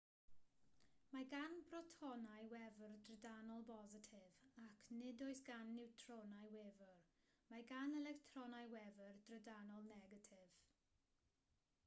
mae gan brotonau wefr drydanol bositif ac nid oes gan niwtronau wefr mae gan electronau wefr drydanol negatif